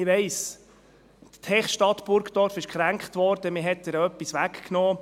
Ich weiss, die Techstadt Burgdorf wurde gekränkt, man hat ihr etwas weggenommen.